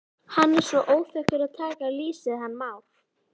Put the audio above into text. Hann er svo óþekkur að taka lýsið hann Már.